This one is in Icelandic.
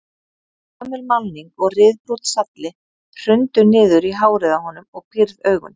Gömul málning og ryðbrúnn salli hrundu niður í hárið á honum og pírð augun.